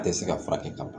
A tɛ se ka furakɛ ka ban